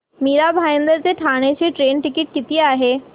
मीरा भाईंदर ते ठाणे चे train ticket किती आहे